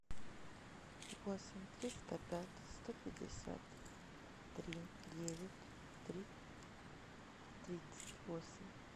восемь триста пять сто пятьдесят три девять три тридцать восемь